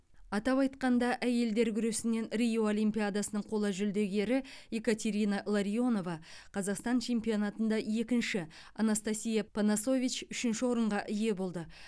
атап айтқанда әйелдер күресінен рио олимпиадасының қола жүлдегері екатерина ларионова қазақстан чемпионатында екінші анастасия панасович үшінші орынға ие болды